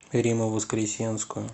римму воскресенскую